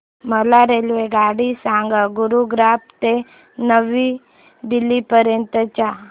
मला रेल्वेगाडी सांगा गुरुग्राम ते नवी दिल्ली पर्यंत च्या